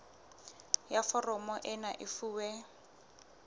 ya foromo ena e fuwe